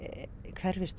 hverfist